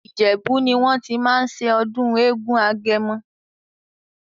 Ìjèbú ní wọ́n tí máa ń ṣe ọdún eégún agẹmọ.